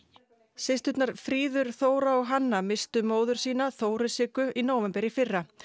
systurnar fríður Þóra og Hanna misstu móður sína Þóru Siggu í nóvember í fyrra